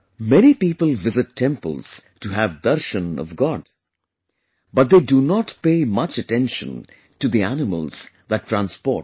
Many people visit temples to have darshan of God, but they do not pay much attention to the animals that transport them